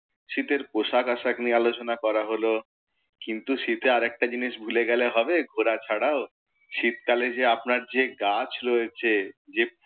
শীতের পোশাক আশাক নিয়ে আলোচনা করা হলো, কিন্তু শীতে আরেকটা জিনিস ভুলে গেলে হবে ঘোরা ছাড়াও, শীতকালে যে আপনার যে গাছ রয়েছে যে